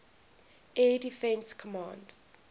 air defense command